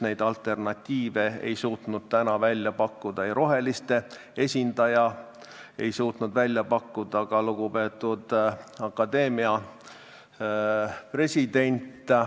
Neid alternatiive ei suutnud täna pakkuda ei roheliste esindaja ega ka lugupeetud akadeemia president.